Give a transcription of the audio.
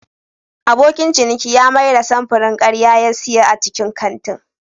Abokin ciniki ya mayar da samfurin karya da ya siya a cikin kantin.